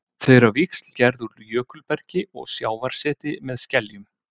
Þau eru á víxl gerð úr jökulbergi og sjávarseti með skeljum.